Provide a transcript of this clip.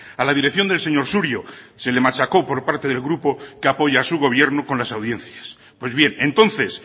a la dirección del señor surio se le machaco por parte del grupo que apoya a su gobierno con las audiencias pues bien entonces